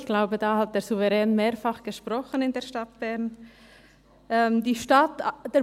ich glaube, darüber hat der Souverän in der Stadt Bern mehrfach gesprochen.